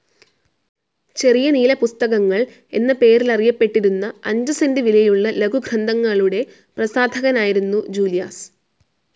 ചെറിയ നീലപുസ്തകങ്ങൾ എന്ന പേരിലറിയപ്പെട്ടിരുന്ന അഞ്ചു സെൻ്റ് വിലയുള്ള ലഘുഗ്രന്ഥങ്ങളുടെ പ്രസാധകനായിരുന്നു ജൂലിയാസ്.